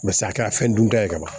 a kɛra fɛn dun ta ye ka ban